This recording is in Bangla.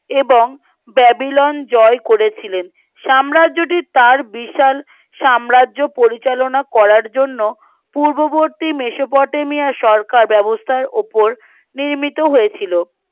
এবং বেবিলন জয় করেছিলেন সাম্রাজ্যটির তার বিশাল সাম্রাজ্য পরিচালনা করার জন্য পূর্ববর্তী মেসোপটেমিয়া সরকার ব্যবস্তার উপর নির্মিত হয়েছিল